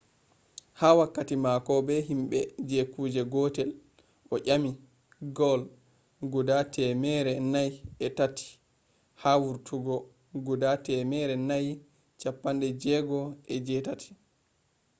ha wakkati mako be himbe je kuje gotel o nyami goal guda temmere nayi e tati ha vurtugo guda temmere nayi chappande jegoo e jee tati